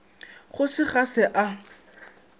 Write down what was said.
go se ga se a